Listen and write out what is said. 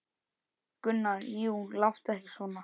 Gunnar: Jú, láttu ekki svona.